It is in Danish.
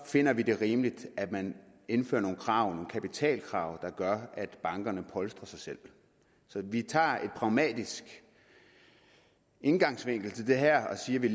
finder vi det rimeligt at man indfører nogle krav nogle kapitalkrav der gør at bankerne polstrer sig selv så vi tager en pragmatisk indgangsvinkel til det her og siger at vi